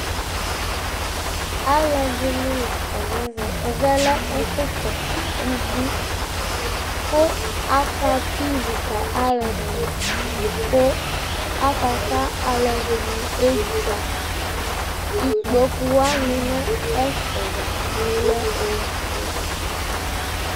Alʋɛdɩnɩ la kɔ nʋ ɛvɛ Ɛvɛ lɛ ɛfʋkɔsʋ ubui kʋ akatʋ ivi ka alʋɛdɩnɩ kʋ akaka alʋɛdɩnɩ edzuǝ Ikpoku wanɩ bɩ lɛ nʋ ɛfɛ dza kplo lɛ ofue